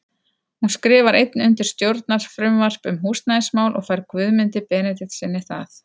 Hún skrifar einnig undir stjórnarfrumvarp um húsnæðismál og fær Guðmundi Benediktssyni það.